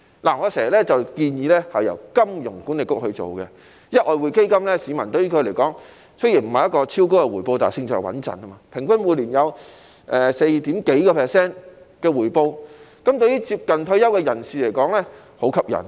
我經常建議這項基金由香港金融管理局負責，因為外匯基金對於市民來說，雖然不是超高的回報，但勝在穩陣，平均每年有 4% 多的回報，對於接近退休的人士而言是很吸引的。